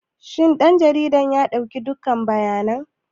Shin ɗan jarida ya ɗauki dukkan bayanan?